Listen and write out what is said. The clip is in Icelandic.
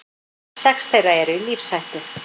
Sex þeirra eru í lífshættu